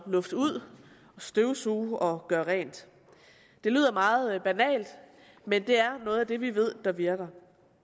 lufte ud støvsuge og gøre rent det lyder meget banalt men det er noget af det vi ved virker